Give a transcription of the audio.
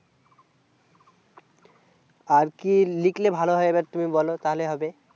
আর কি লিখলে ভালো হয় এবার তুমি বোলো তাহলে হবে